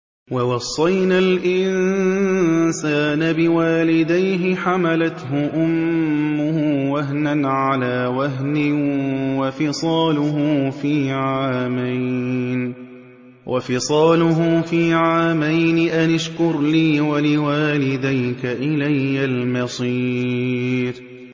وَوَصَّيْنَا الْإِنسَانَ بِوَالِدَيْهِ حَمَلَتْهُ أُمُّهُ وَهْنًا عَلَىٰ وَهْنٍ وَفِصَالُهُ فِي عَامَيْنِ أَنِ اشْكُرْ لِي وَلِوَالِدَيْكَ إِلَيَّ الْمَصِيرُ